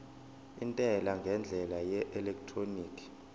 intela ngendlela yeelektroniki